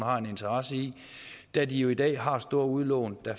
har en interesse i da de jo i dag har store udlån der